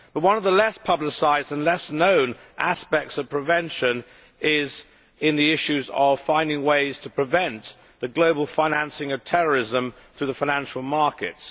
But one of the less publicised and less known aspects of prevention is the issue of finding ways to prevent the global financing of terrorism through the financial markets.